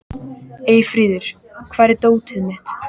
Eyfríður, hvar er dótið mitt?